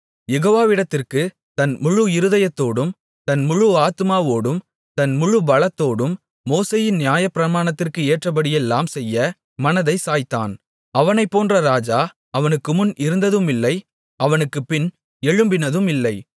யெகோவாவிடத்திற்குத் தன் முழு இருதயத்தோடும் தன் முழு ஆத்துமாவோடும் தன் முழு பலத்தோடும் மோசேயின் நியாயப்பிரமாணத்திற்கு ஏற்றபடியெல்லாம் செய்ய மனதைச் சாய்த்தான் அவனைப் போன்ற ராஜா அவனுக்குமுன் இருந்ததுமில்லை அவனுக்குப்பின் எழும்பினதுமில்லை